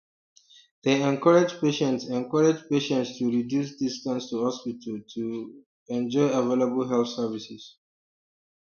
dem encourage patients encourage patients to reduce distance to hospitals to um enjoy available health services